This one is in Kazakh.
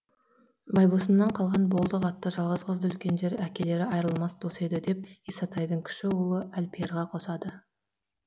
байбосыннан қалған болдық атты жалғыз қызды үлкендер әкелері айырылмас дос еді деп исатайдың кіші ұлы әлпиярға қосады